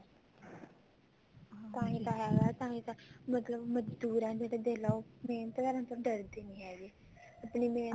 ਤਾਂਹੀ ਤਾਂ ਹੈਗਾ ਤਾਂਹੀ ਤਾਂ ਮਗਰ ਮਜਦੂਰ ਆ ਜਿਹੜੇ ਦੇਖਲਾ ਉਹ ਮਿਹਨਤ ਕਰਨ ਤੋਂ ਡਰਦੇ ਨੀ ਹੈਗੇ ਆਪਣੀ ਮਿਹਨਤ